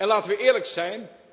Laten we eerlijk zijn.